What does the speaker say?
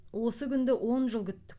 осы күнді он жыл күттік